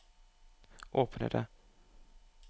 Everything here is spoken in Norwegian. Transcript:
åpne det